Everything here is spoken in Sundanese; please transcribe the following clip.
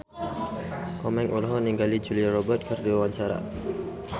Komeng olohok ningali Julia Robert keur diwawancara